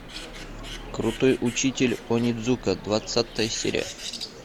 крутой учитель онидзука двадцатая серия